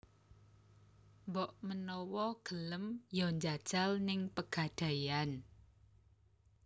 Mbok menawa gelem yo njajal ning Pegadaian